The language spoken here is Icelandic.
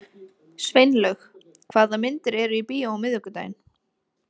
Sveinlaug, hvaða myndir eru í bíó á miðvikudaginn?